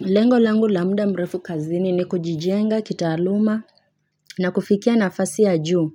Lengo langu la muda mrefu kazini ni kujijenga kitaaluma na kufikia nafasi ya juu